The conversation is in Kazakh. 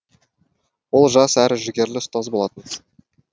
ол жас әрі жігерлі ұстаз болатын